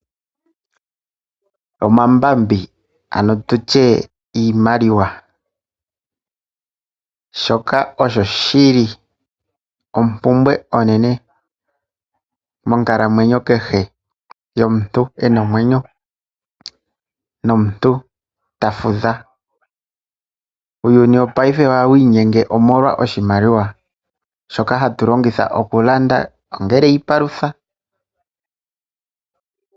Omambambi nenge iimaliwa oyili oompumbwe onene monkalamwenyo kehe yomuntu ena omwenyo. Uuyuni wopaife oha wiinyenge molwa oshimaliwa shoka hatu longitha okulanda iipalutha.